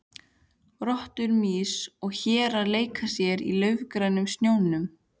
Rottur, mýs og hérar leika sér í laufgrænum snjónum.